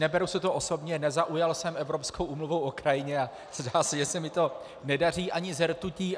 Neberu si to osobně, nezaujal jsem Evropskou úmluvou o krajině a zdá se, že se mi to nedaří ani se rtutí.